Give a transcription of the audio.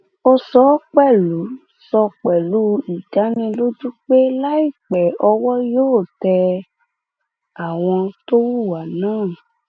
ó sọ pẹlú sọ pẹlú ìdánilójú pé láìpẹ lọwọ yóò tẹ àwọn tó hùwà náà